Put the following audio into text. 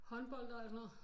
Håndbold og alt sådan noget